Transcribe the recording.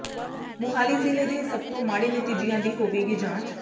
ਮੁਹਾਲੀ ਜ਼ਿਲ੍ਹੇ ਦੇ ਸਭ ਤੋਂ ਮਾੜੇ ਨਤੀਜਿਆਂ ਦੀ ਹੋਵੇਗੀ ਜਾਂਚ